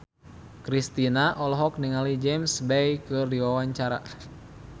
Kristina olohok ningali James Bay keur diwawancara